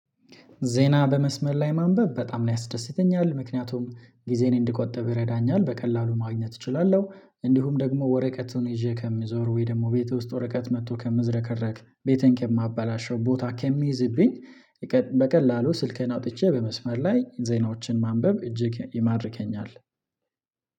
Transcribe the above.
ዜና በመስመር ላይ ማንበብ በጣም ነው ያስደስተኛል ምክንያቱም ጊዜን እንድቆጥብ ይረዳኛል በቀላሉ ማግኘት እችላለሁ። እንዲሁም ደግሞ ወረቀቱን ይዤ ከምዞር ወይ ደግሞ ቤት ውስጥ ወረቀት መጥቶ ከምዝረከረክ ቤቴን ከማበላሸው ቦታ ከሚይዝብኝ በቀላሉ ስልኬን አውጥቼ በመስመር ላይ ዜናዎችን ማንበብ እጅግ ይማርከኛል።